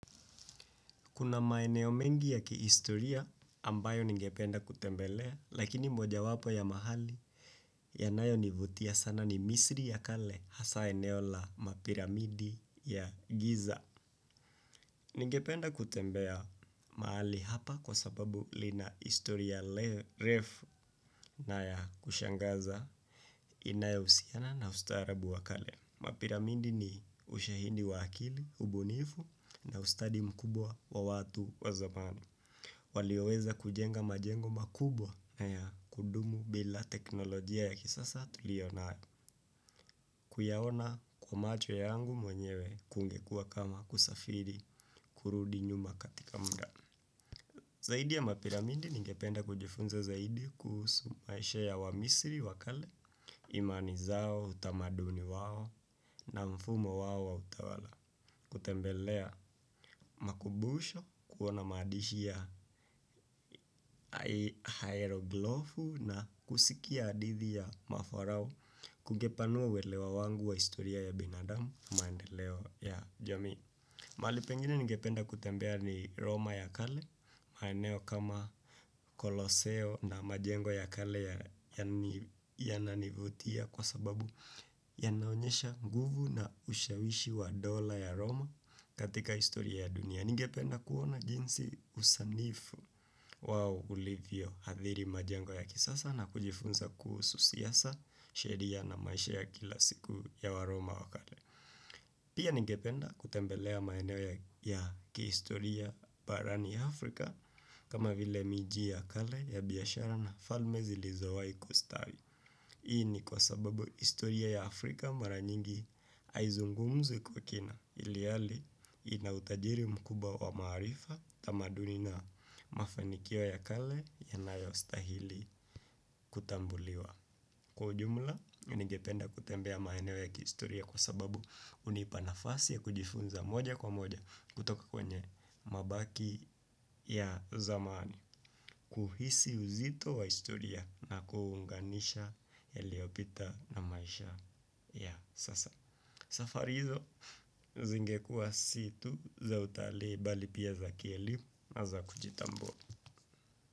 Kuna maeneo mengi ya kiistoria ambayo ningependa kutembelea, lakini moja wapo ya mahali yanayo nivutia sana ni misri ya kale hasa eneo la mapiramidi ya giza. Ningependa kutembea mahali hapa kwa sababu lina istoria refu na ya kushangaza inayousiana na ustarabu wa kale. Mapiramidi ni ushahindi wakili, ubunifu na ustadi mkubwa wa watu wa zamani. Walioweza kujenga majengo makubwa na ya kudumu bila teknolojia ya kisasa tuliona kuyawona kwa macho yangu mwenyewe kungekua kama kusafiri kurudi nyuma katika mda. Zaidi ya mapiramidi ningependa kujifunza zaidi kusu maeshe ya wamisiri, wakale, imani zao, utamaduni wao na mfumo wao wa utawala. Kutembelea makubusho, kuona madishi ya hieroglofu na kusikia adithi ya maforao kungepanua welewa wangu wa istoria ya binadamu maendeleo ya jami. Mali pengine ningependa kutembea ni Roma ya kale, maeneo kama koloseo na majengo ya kale yananivutia kwa sababu yanaonyesha nguvu na ushawishi wa dola ya Roma katika istoria ya dunia. Ningependa kuona jinsi usanifu wao ulivyo hadhiri majengo ya kisasa na kujifunza kuhusu siasa sheria na maisha ya kila siku ya waroma wakale. Pia nigependa kutembelea maeneo ya kiistoria parani Afrika kama vile miji ya kale ya biyashara na falme zilizoa ikustawi. Hii ni kwa sababu istoria ya Afrika mara nyingi aizungumzwi kwa kina iliali inautajiri mkubwa wa marifa tamaduni na mafanikiwo ya kale yanayo stahili kutambuliwa. Kwa jumla, ningependa kutembea maheneo ya kistoria kwa sababu unipa nafasi ya kujifunza moja kwa moja kutoka kwenye mabaki ya zamani. Kuhisi uzito wa istoria na kuunganisha yaliopita na maisha ya sasa. Safarizo, zingekua situ za utali bali pia za kielimu na za kujitambua.